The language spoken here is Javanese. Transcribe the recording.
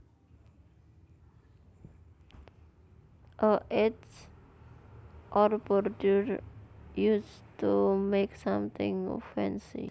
A edge or border used to make something fancy